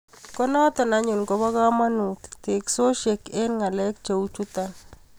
Konoto anyun koba kamanut teksosiek eng ngalek cheu chuto